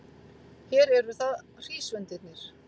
Hér eru það hrísvendirnir.